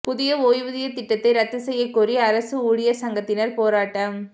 புதிய ஓய்வூதியத் திட்டத்தை ரத்து செய்யக் கோரி அரசு ஊழியா் சங்கத்தினா் போராட்டம்